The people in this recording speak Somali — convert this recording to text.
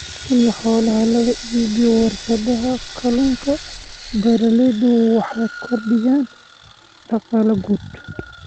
In xoolaha laga iibiyo warshadaha kalluunka, beeralaydu waxay kordhiyaan dakhligooda.